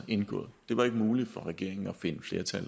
indgået det var ikke muligt for regeringen at finde flertal